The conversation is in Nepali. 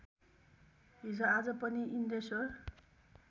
हिजोआज पनि इन्द्रेश्वर